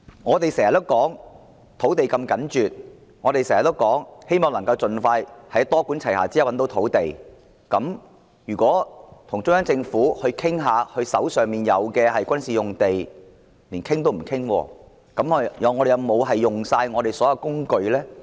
我們經常說土地供應如此緊絀，希望以多管齊下的方式覓得土地，如果與中央政府商討他們手上的軍事用地亦不可，連商討也不能的話，那麼我們有否用盡所有工具呢？